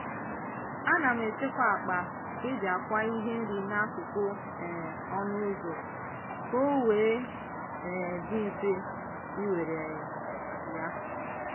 ana m echekwa akpa e ji akwa ihe nri n'akụkụ um ọnụ ụzọ ka o wee um dị mfe iwere um ya.